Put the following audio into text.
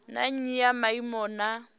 na nnyi ya maimo na